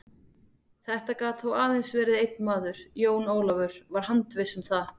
Þetta gat þó aðeins verið einn maður, Jón Ólafur var handviss um það.